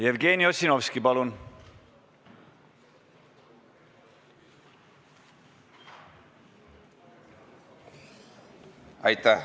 Jevgeni Ossinovski, palun!